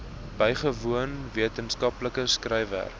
bygewoon wetenskaplike skryfwerk